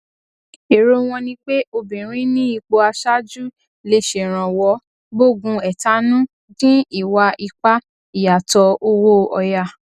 èrò wọn ni pé obìnrin ní ipò aṣáájú lè ṣèrànwọ gbógun ẹtanú dín ìwà ipá ìyàtọ owó òyà